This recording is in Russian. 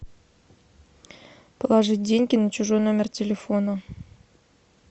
положить деньги на чужой номер телефона